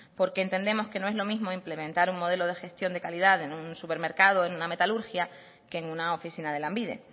porque entendemos que no es lo mismo implementar un modelo de gestión de calidad en un supermercado en una metalurgia que en una oficina de lanbide